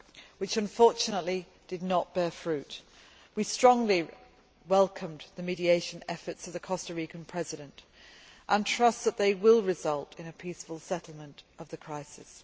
which unfortunately did not bear fruit. We strongly welcomed the mediation efforts of the Costa Rican President and trust that they will result in a peaceful settlement of the crisis.